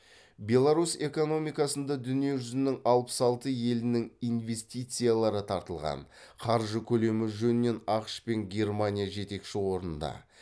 беларусь экономикасында дүниежүзінің алпыс алты елінің инвестициялары тартылған қаржы көлемі жөнінен ақш мен германия жетекші орында